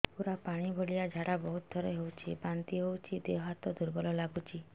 ପୁରା ପାଣି ଭଳିଆ ଝାଡା ବହୁତ ଥର ହଉଛି ବାନ୍ତି ହଉଚି ଦେହ ହାତ ଦୁର୍ବଳ ଲାଗୁଚି